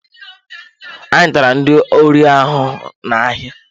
Anyị tara ndị ori ahụhụ na-ahịa.